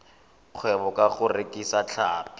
kgwebo ka go rekisa tlhapi